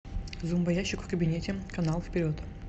зомбоящик в кабинете канал вперед